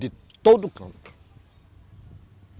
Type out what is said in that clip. De todo canto.